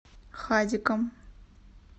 хадиком